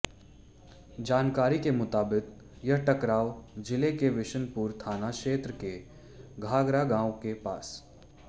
जानकारी के मुताबिक यह टकराव जिला के विशनपुर थाना क्षेत्र के घाघरा गांव के पास